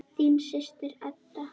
Þín systir, Edda.